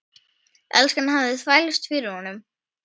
Enskan hafði þvælst fyrir honum.